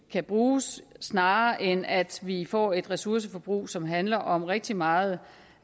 kan bruges snarere end at vi får et ressourceforbrug som handler om rigtig meget